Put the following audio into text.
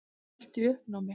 Allt í uppnámi.